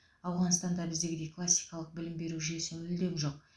ауғанстанда біздегідей классикалық білім беру жүйесі мүлдем жоқ